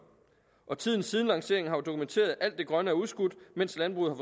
og tiden siden lanceringen har jo dokumenteret at alt det grønne er udskudt mens landbruget